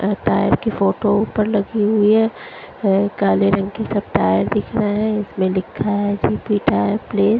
ए tyre की photo ऊपर लगी हुई हैं अ काले रंग के सब टायर दिख रहे हैं इसमें लिखा है कि पलेस ।